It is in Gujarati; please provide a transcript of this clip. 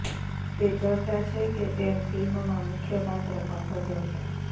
તે ચર્ચા છે કે તે ફિલ્મમાં મુખ્ય પાત્ર પણ ભજવશે